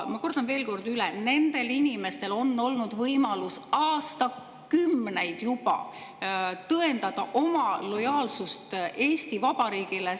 Ma kordan veel kord üle: nendel inimestel on olnud võimalus aastakümneid juba tõendada oma lojaalsust Eesti Vabariigile.